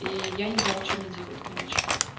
и я не знала что мне делать короче